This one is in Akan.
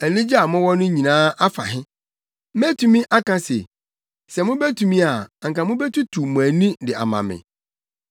Anigye a mowɔ no nyinaa afa he? Metumi aka se, sɛ mubetumi a anka mubetutu mo ani de ama me.